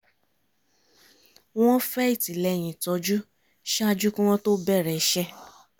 wọ́n fẹ́ ìtìlẹ́yìn ìtọ́jú ṣáájú kí wọ́n to bẹ̀rẹ̀ iṣẹ́